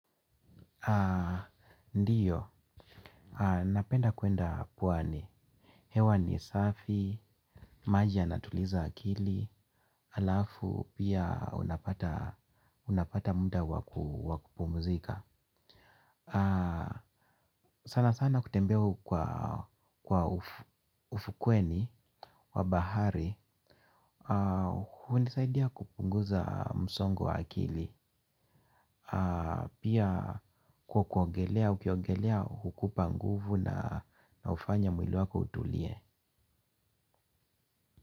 Ndiyo, napenda kuenda pwani. Hewa ni safi, maji yanatuliza akili, alafu pia unapata muda wakupumuzika. Sana sana kutembes kwa ufukweni wabahari. Hunisaidia kupunguza msongo wa akili. Pia kwa kuogelea ukiogelea hukupa nguvu na ufanya mwili wako utulie.